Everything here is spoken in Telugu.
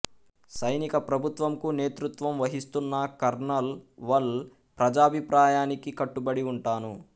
సైనిక ప్రభుత్వంకు నేతృత్వం వహిస్తున్న కర్నల్ వళ్ ప్రజాభిప్రాయానికి కట్టుబడి ఉంటాను